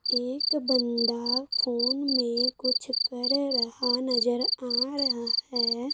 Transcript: एक बंदा फोन में कुछ कर रहा नजर आ रहा है।